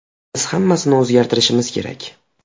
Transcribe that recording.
Biz hammasini o‘zgartirishimiz kerak.